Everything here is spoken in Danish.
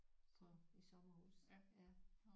På i sommerhus ja